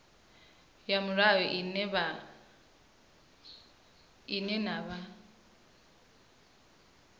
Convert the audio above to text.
ya mulayo ine na vha